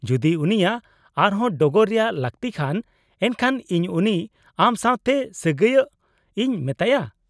-ᱡᱩᱫᱤ ᱩᱱᱤᱭᱟᱜ ᱟᱨ ᱦᱚᱸ ᱰᱚᱜᱚᱨ ᱨᱮᱭᱟᱜ ᱞᱟᱹᱠᱛᱤᱜ ᱠᱷᱟᱱ , ᱮᱱᱠᱷᱟᱱ ᱤᱧ ᱩᱱᱤ ᱟᱢ ᱥᱟᱶᱛᱮ ᱥᱟᱹᱜᱟᱹᱭᱚᱜ ᱤᱧ ᱢᱮᱛᱟᱭᱟ ᱾